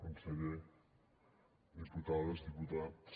conseller diputades diputats